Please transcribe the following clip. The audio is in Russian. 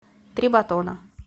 три батона